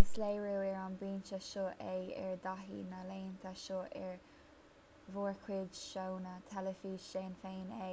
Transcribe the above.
is léiriú ar an bpointe seo é ár dtaithí na laethanta seo ar mhórchuid seónna teilifíse déan féin é